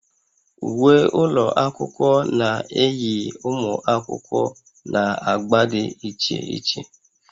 Uwe ụlọ akwụkwọ na-eyi ụmụ akwụkwọ na agba dị iche iche